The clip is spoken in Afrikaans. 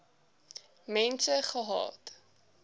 mense gehad